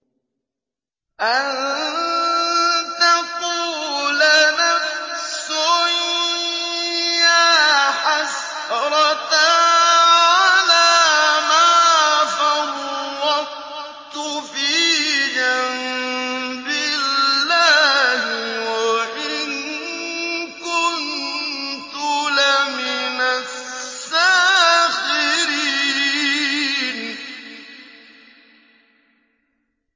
أَن تَقُولَ نَفْسٌ يَا حَسْرَتَا عَلَىٰ مَا فَرَّطتُ فِي جَنبِ اللَّهِ وَإِن كُنتُ لَمِنَ السَّاخِرِينَ